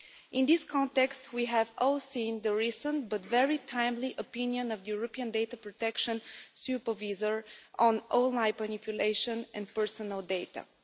In this context, we have all seen the recent, but very timely, opinion of the European Data Protection Supervisor on online manipulation and personal data.